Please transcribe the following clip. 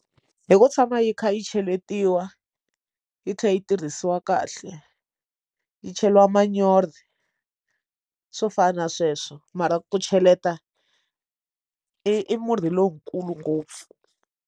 Hi ku tshama yi kha yi cheletiwa yi tlhela yi tirhisiwa kahle yi cheriwa manyoro swo fana na sweswo mara ku cheleta i murhi lowukulu ngopfu.